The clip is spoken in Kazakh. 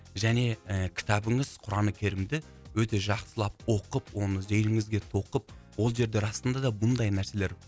және і кітабыңыз құран керімді өте жақсылап оқып оны зейініңізге тоқып ол жерде расында да бұндай нәрселер